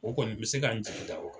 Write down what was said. O kɔni bɛ se ka n jigin da o kan.